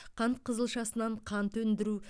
қант қызылшасынан қант өндіру